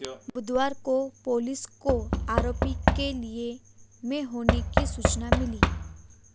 बुधवार को पुलिस को आरोपी के लिल्ह में होने की सूचना मिली